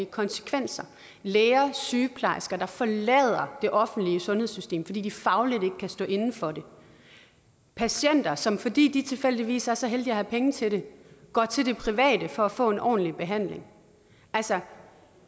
konsekvenser læger sygeplejersker der forlader det offentlige sundhedssystem fordi de fagligt ikke kan stå inde for det patienter som fordi de tilfældigvis er så heldige at have penge til det går til det private for at få en ordentlig behandling altså